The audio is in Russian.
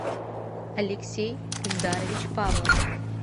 алексей эльдарович павлов